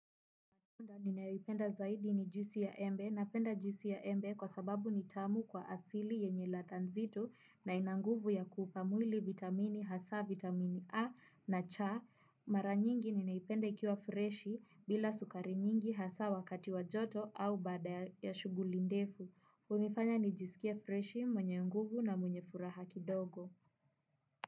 Ninayoipenda zaidi ni juisi ya embe. Napenda juisi ya embe, kwa sababu ni tamu kwa asili yenye ladha nzito, na ina nguvu ya kuupa mwili vitamini hasaa vitamin A na C. Mara nyingi ninaipenda ikiwa freshi bila sukari nyingi hasa wakati wa joto au baada ya shuguli ndefu. Unifanya nijiskie freshi mwenye nguvu na mwenye furaha kidogo.